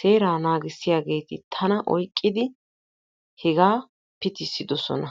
heeraa naagissiyageeti tana oyqqidi hegaa pitissidosona.